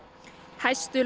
hæstu